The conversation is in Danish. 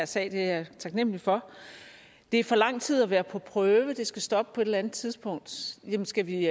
sag det er jeg taknemlig for det er for lang tid at være på prøve det skal stoppe på et eller andet tidspunkt skal vi